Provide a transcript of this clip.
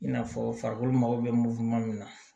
I n'a fɔ farikolo mako bɛ moto ma min na